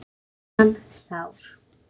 Græddi hann sár